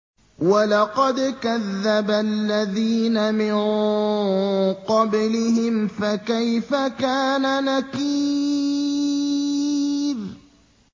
وَلَقَدْ كَذَّبَ الَّذِينَ مِن قَبْلِهِمْ فَكَيْفَ كَانَ نَكِيرِ